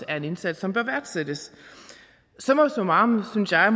er en indsats som bør værdsættes summa summarum synes jeg